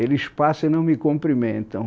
Eles passam e não me cumprimentam.